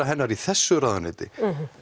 hennar í þessu ráðuneyti